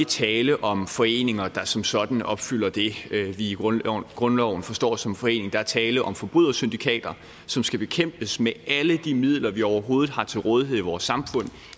tale om foreninger der som sådan opfylder det vi i grundloven grundloven forstår som foreninger der er tale om forbrydersyndikater som skal bekæmpes med alle de midler vi overhovedet har til rådighed i vores samfund